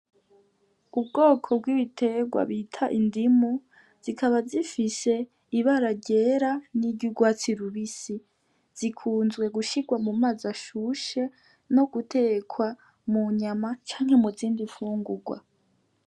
Ubwoko bw'ibiterwa bita indimu zikaba zifise ibara ryera n'iryugwatsi rubisi zikunzwe gushirwa mu mazi ashushe no gutekwa mu nyama canke mu zindi fungurwa.